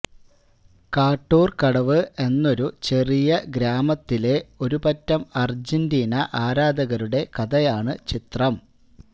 കാട്ടൂര് കടവ് എന്നൊരു ചെറിയ ഗ്രാമത്തിലെ ഒരു പറ്റം അര്ജന്റീന ആരാധകരുടെ കഥയാണ് ചിത്രം